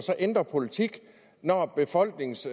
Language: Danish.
ændrer politik når befolkningens